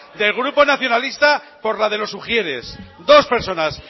del grupo nacionalista por la de los ujieres dos personas